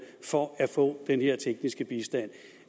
for at få den her tekniske bistand